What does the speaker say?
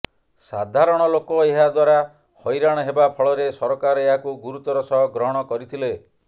ସାଧାରଣ ଲୋକ ଏହା ଦ୍ବାରା ହଇରାଣ ହେବା ଫଳରେ ସରକାର ଏହାକୁ ଗୁରୁତର ସହ ଗ୍ରହଣ କରିଥିଲେ